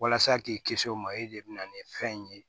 Walasa k'i kisi o ma e de bɛ na ni fɛn in ye